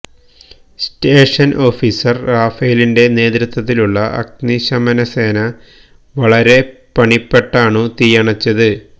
സ്റ്റേഷന് officer റാഫേലിന്റെ നേതൃത്വത്തിലുള്ള അഗ്നിശമന സേന വളരെ പണിപ്പെട്ടാണു തീയണച്ചത്